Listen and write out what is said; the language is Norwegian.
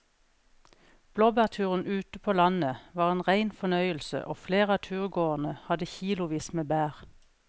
Blåbærturen ute på landet var en rein fornøyelse og flere av turgåerene hadde kilosvis med bær.